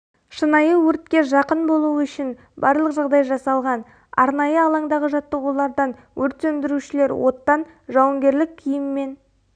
шынайы өртке жақын болу үшін барлық жағдай жасалған арнайы алаңдағы жаттығулардан өрт сөндірушілер оттан жауынгерлік киіммен